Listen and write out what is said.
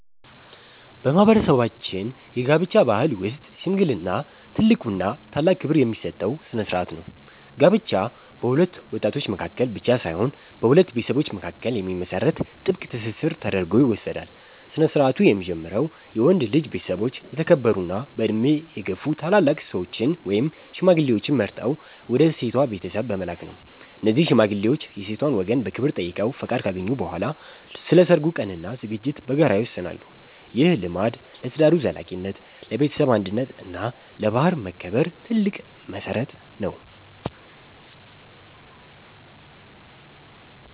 በማህበረሰባችን የጋብቻ ባህል ውስጥ "ሽምግልና" ትልቁና ታላቅ ክብር የሚሰጠው ስነ-ስርዓት ነው። ጋብቻ በሁለት ወጣቶች መካከል ብቻ ሳይሆን በሁለት ቤተሰቦች መካከል የሚመሰረት ጥብቅ ትስስር ተደርጎ ይወሰዳል። ስነ-ስርዓቱ የሚጀምረው የወንድ ልጅ ቤተሰቦች የተከበሩና በዕድሜ የገፉ ታላላቅ ሰዎችን (ሽማግሌዎችን) መርጠው ወደ ሴቷ ቤተሰብ በመላክ ነው። እነዚህ ሽማግሌዎች የሴቷን ወገን በክብር ጠይቀው ፈቃድ ካገኙ በኋላ፣ ስለ ሰርጉ ቀንና ዝግጅት በጋራ ይወስናሉ። ይህ ልማድ ለትዳሩ ዘላቂነት፣ ለቤተሰብ አንድነት እና ለባህል መከበር ትልቅ መሰረት ነው።